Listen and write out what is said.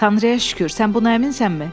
Tanrıya şükür, sən buna əminsənmi?